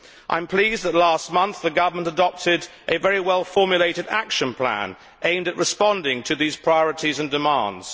I am pleased that last month, the government adopted a very well formulated action plan aimed at responding to these priorities and demands.